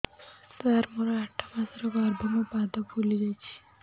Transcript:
ସାର ମୋର ଆଠ ମାସ ଗର୍ଭ ମୋ ପାଦ ଫୁଲିଯାଉଛି